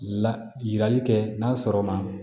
La yirali kɛ n'a sɔrɔ ma